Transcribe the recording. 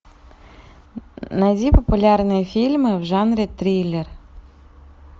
найди популярные фильмы в жанре триллер